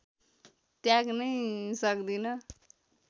त्याग्नै सक्दिन